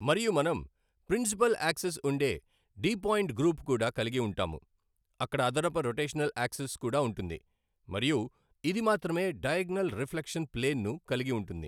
మరియు మనం principal axis ఉండే డి పాయింట్ గ్రూప్ కూడా కలిగి ఉంటాము. అక్కడ అదనపు రొటషనల్ ఆక్సిస్ కూడా ఉంటుంది మరియు ఇది మాత్రమే డయాగోనల్ రిఫ్లెక్షన్ ప్లేన్ ను కలిగి ఉంటుంది.